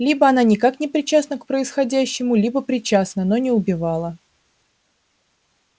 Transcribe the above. либо она никак не причастна к происходящему либо причастна но не убивала